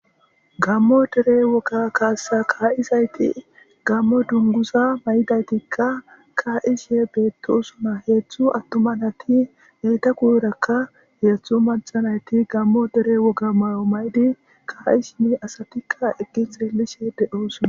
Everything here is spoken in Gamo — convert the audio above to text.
gammo dere woga kaassa kaa7izayti gammo dungusa may7idaytikka kaa7ishe beettosuna heeththu attuma nati heyta kuyrakka heeththu macanayti gammo dere woga may7o maydi ka7i simi asatikka eggi heelishe de7oosona